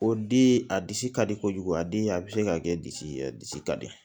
O di a disi ka di kojugu a di a bɛ se ka kɛ disi ye a disi ka di